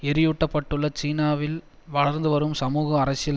எரியூட்டப்பட்டுள்ள சீனாவில் வளர்ந்துவரும் சமூக அரசியல்